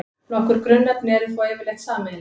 Nokkur grunnefni eru þó yfirleitt sameiginleg.